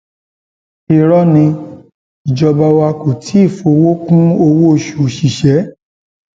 irọ ni ìjọba wa kò tí ì fọwọ kún owóoṣù òṣìṣẹ